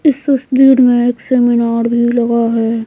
इस तस्वीर में एक सेमिनार भी लगा है।